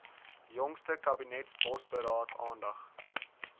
jongste kabinetsbosberaad aandag